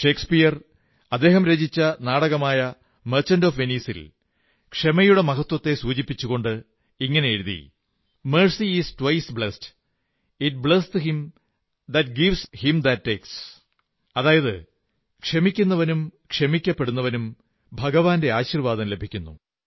Shakespeare അദ്ദേഹം രചിച്ച നാടകമായ മർച്ചന്റ് ഒഫ് വെനീസിൽ ക്ഷമയുടെ മഹത്വത്തെക്കുറിച്ചു സൂചിപ്പിച്ചുകൊണ്ട് എഴുതി mercy is twice blesseth it blesseth him that gives him that takes അതായത് ക്ഷമിക്കുന്നവനും ക്ഷമിക്കപ്പെടുന്നവനും ദൈവത്തിന്റെ ആശീർവ്വാദം ലഭിക്കുന്നു